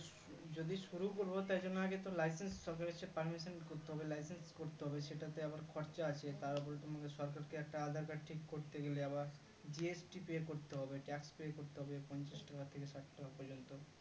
যদি শুরু করবো তাই জন্য আগেতো license সরকারের কাছে permission করতে হবে license করতে হবে সেটাতে আবার খরচ আছে তারপরে তুমি সরকারকে একটা aadhar card ঠিক করতে গেলে আবার GST pay করতে হবে tax pay করতে হবে পঞ্চাশ টাকা থেকে ষাট টাকা পর্যন্ত